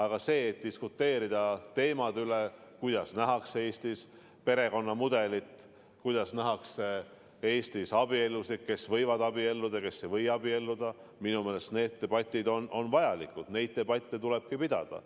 Aga see, et diskuteerida teemade üle, kuidas nähakse Eestis perekonnamudelit, kuidas nähakse Eestis abielusid, kes võivad abielluda ja kes ei või abielluda – minu meelest on need debatid vajalikud, neid debatte tulebki pidada.